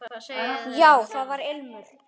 Já, það var ilmur!